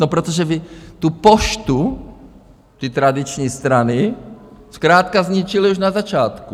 No protože vy tu Poštu, ty tradiční strany zkrátka zničily už na začátku.